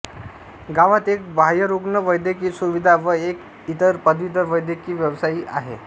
गावात एक बाह्यरुग्ण वैद्यकीय सुविधा व एक इतर पदवीधर वैद्यक व्यवसायी आहे